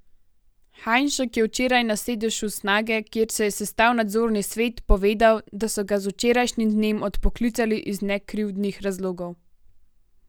Hajnšek je včeraj na sedežu Snage, kjer se je sestal nadzorni svet, povedal, da so ga z včerajšnjim dnem odpoklicali iz nekrivdnih razlogov.